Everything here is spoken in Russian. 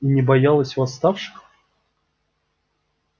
и не боялась восставших